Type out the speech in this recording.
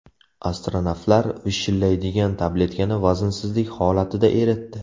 Astronavtlar vishillaydigan tabletkani vaznsizlik holatida eritdi.